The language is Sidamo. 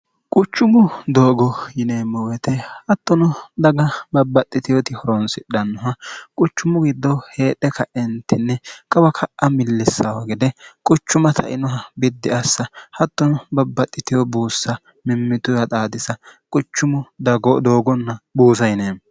quchumu doogo yineemmo woyite hattono daga babbaxxitehoti horonsidhannoha quchummu giddoo heedhe kaentinni qawa ka'a millissaaho gede quchuma tainoha biddi assa hattono babbaxxiteho buussa mimmituyaa xaadisa quchumu doogonna buusa yineemmo